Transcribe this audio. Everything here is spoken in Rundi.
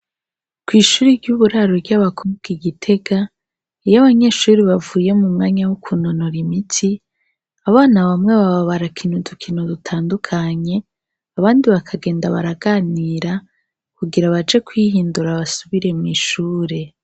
Kw'ishuri ry'uburaru ry'abakubwa igitega eyo abanyeshuri bavuye mu mwanya wo kunonora imiti abana bamwe babo barakinu dukino dutandukanye abandi bakagenda baraganira kugira abaje kwihindura abasubire mu'ishure.